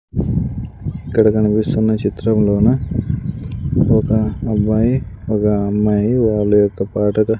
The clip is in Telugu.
ఇక్కడ కనిపిస్తున్న చిత్రంలోన ఒక అబ్బాయి ఒగ అమ్మాయి వాళ్ళ యొక్క పాటగా --